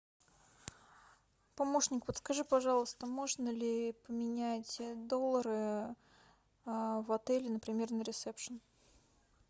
помощник подскажи пожалуйста можно ли поменять доллары в отеле например на ресепшен